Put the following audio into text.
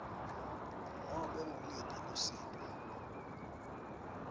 nobe nguluphi lusito